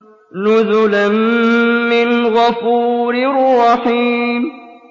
نُزُلًا مِّنْ غَفُورٍ رَّحِيمٍ